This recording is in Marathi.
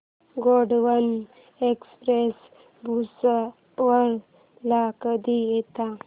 गोंडवन एक्सप्रेस भुसावळ ला कधी येते